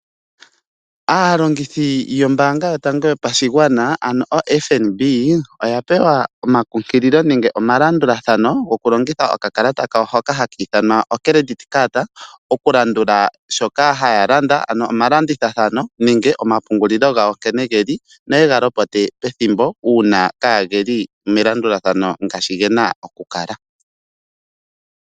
Aalongithi yombaanga yotango yopashigwana ano oFNB oya pewa omakunkililo nenge omalandulathano goku longitha okakalata kawo hoka haka ithanwa Credit Card oku landula shoka haya landa . Ano omalandithathano nenge omapungulilo gawo nkene geli noyega lopote pethimbo uuna kaageli melandulathano ngaashi gena oku kala.